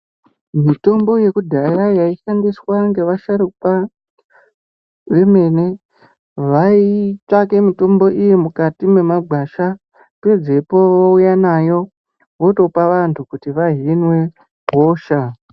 Mitombo ye kudhaya yai shandiswa nge vasharuka vemene vaitsvake mitombo iyi mukati mwe magwasha pedzepo vouya nayo votopa vantu kuti vahinwe hosha.